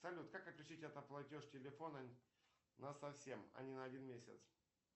салют как отключить автоплатеж телефона на совсем а не на один месяц